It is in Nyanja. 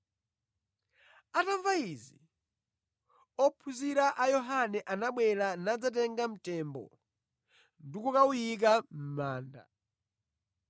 Atamva izi, ophunzira a Yohane anabwera nadzatenga mtembo ndi kukawuyika mʼmanda.